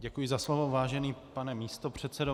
Děkuji za slovo, vážený pane místopředsedo.